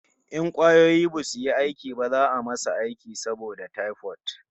In kwayoyi basu yi aiki ba za'a yi masa aiki saboda typhoid